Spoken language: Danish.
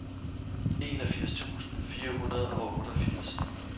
enogfirs tusind fire hundrede og otteogfirs